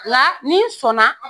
la ni n sɔn na